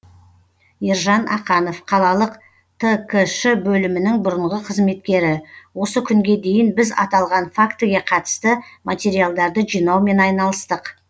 ержан ақанов қалалық ткш бөлімінің бұрынғы қызметкері осы күнге дейін біз аталған фактіге қатысты материалдарды жинаумен айналыстық